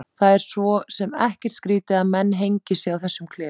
Það er svo sem ekkert skrýtið að menn hengi sig í þessum klefum.